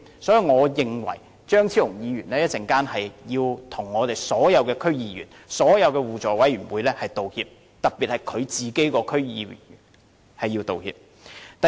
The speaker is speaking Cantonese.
所以，我認為張超雄議員稍後要向所有區議員和互委會道歉，特別是向他自己黨內的區議員道歉。